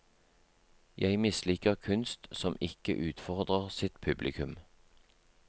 Jeg misliker kunst som ikke utfordrer sitt publikum.